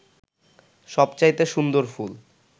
সবচাইতে সুন্দর ফুল